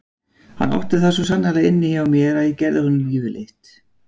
Hann átti það svo sannarlega inni hjá mér að ég gerði honum lífið leitt.